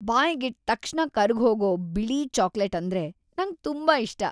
ಬಾಯ್ಗಿಟ್ ತಕ್ಷಣ ಕರ್ಗ್‌ಹೋಗೋ ಬಿಳಿ ಚಾಕ್ಲೇಟ್ ಅಂದ್ರೆ ನಂಗ್‌ ತುಂಬಾ ಇಷ್ಟ.